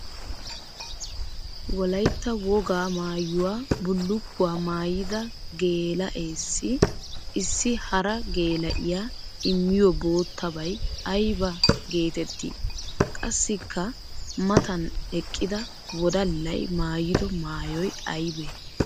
Wolaytta woga maayuwa bullukkuwa maayidda geela'ees issi hara geela'iya immiyo boottabay aybba geetetti? Qassikka matan eqqidda wodallay maayiddo maayoy aybbay?